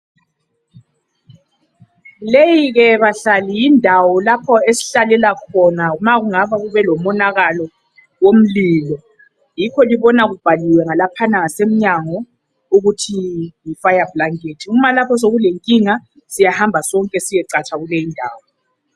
Leyi ke bahlali yindawo lapho esihlalela khona uma ngabe kubelomonakalo womlilo yikho libona kubhaliwe ngalaphana ngasemnyango ukuthi yifire blanket uma lapha sekulenkinga siyahamba sonke siyecatsha kuleyindawo.